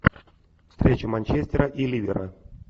встреча манчестера и ливера